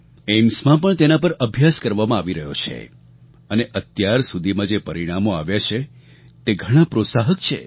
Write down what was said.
એઇમ્સમાં પણ તેના પર અભ્યાસ કરવામાં આવી રહ્યો છે અને અત્યાર સુધીમાં જે પરિણામો આવ્યાં છે તે ઘણાં પ્રોત્સાહક છે